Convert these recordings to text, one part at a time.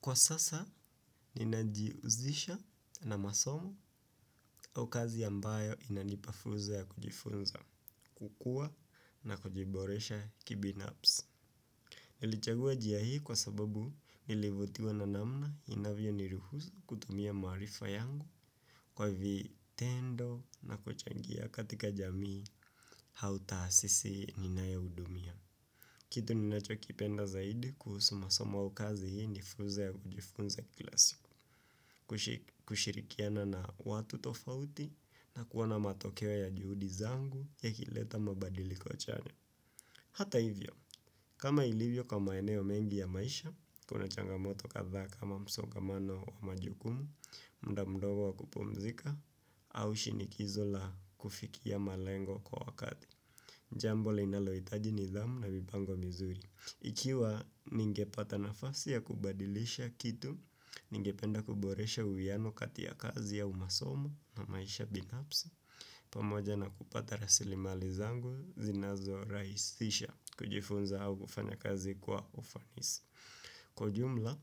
Kwa sasa, ninajiuzisha na masomo au kazi ambayo inanipa fursa ya kujifunza, kukua na kujiboresha kibinapsi. Nilichagua njia hii kwa sababu nilivutiwa na namna inavyo niruhusu kutumia marifa yangu kwa vitendo na kuchangia katika jamii hau taasisi ninayoudumia. Kitu ninacho kipenda zaidi kuhusu masoma au kazi hii ni fuze ya kujifunza kila siku, kushi kushirikiana na watu tofauti na kuona matokeo ya juhudi zangu yakileta mabadiliko chanya. Hata hivyo, kama ilivyo kwa maeneo mengi ya maisha, kuna changamoto kathaa kama msongamano wa majukumu, mda mdogo wa kupumzika, au shinikizo la kufikia malengo kwa wakati. Jambo linalohitaji nidhamu na mipango mizuri. Ikiwa ningepata nafasi ya kubadilisha kitu, ningependa kuboresha uwiano kati ya kazi au masomo na maisha binapsi. Pamoja na kupata rasilimali zangu, zinazo rahisisha kujifunza au kufanya kazi kwa ufanisi. Kwa ujumla,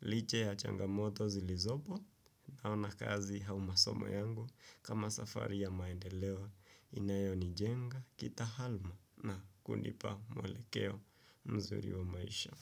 liche ya changamoto zilizopo naona kazi hau masomo yangu kama safari ya maendeleo inayonijenga kita halma na kunipa mwelekeo mzuri wa maisha.